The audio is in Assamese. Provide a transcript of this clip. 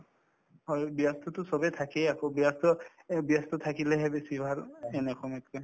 হয়, ব্যস্ততো চবে থাকে আকৌ ব্যস্ত এই ব্যস্ত থাকিলেহে বেছি ভাল এনে সময়তকে